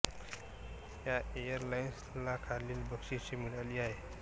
या airlines ला खालील बक्षिशे मिळाली आहेत